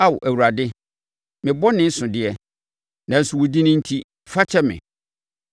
Ao Awurade, me bɔne so deɛ, nanso wo din enti, fa kyɛ me.